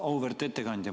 Auväärt ettekandja!